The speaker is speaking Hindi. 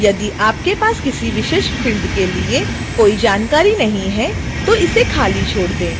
यदि आपके पास किसी विशेष फ़िल्ड के लिए कोई जानकारी नहीं है तो इसे खाली छोड़ दें